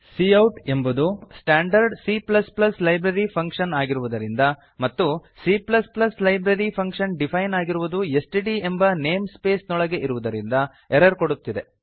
cout ಎಂಬುದು standard C library function ಆಗಿರುವುದರಿಂದ ಮತ್ತು C ಲೈಬ್ರರಿ ಫಂಕ್ಷನ್ ಡಿಫೈನ್ ಆಗಿರುವುದು ಎಸ್ಟಿಡಿ ಎಂಬ ನೇಮ್ ಸ್ಪೇಸ್ ನೊಳಗೆ ಇರುವುದರಿಂದ ಎರರ್ ಕೊಡುತ್ತಿದೆ